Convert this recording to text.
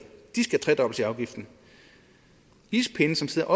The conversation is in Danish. de skal tredobles i afgiften ispinde som sidder